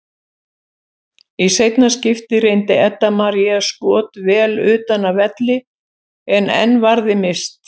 Í seinna skiptið reyndi Edda María skot vel utan af velli en enn varði Mist.